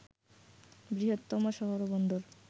বৃহত্তম শহর ও বন্দর